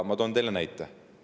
Ma toon teile näite.